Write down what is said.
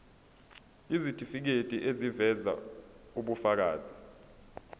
isitifiketi eziveza ubufakazi